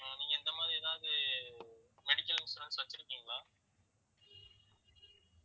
அஹ் நீங்க இந்த மாதிரி ஏதாவது medical insurance வச்சிருக்கீங்களா